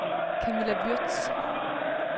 Camilla Würtz